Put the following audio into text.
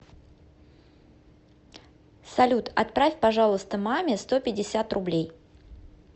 салют отправь пожалуйста маме сто пятьдесят рублей